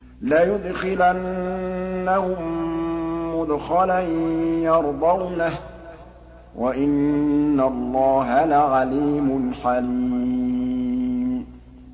لَيُدْخِلَنَّهُم مُّدْخَلًا يَرْضَوْنَهُ ۗ وَإِنَّ اللَّهَ لَعَلِيمٌ حَلِيمٌ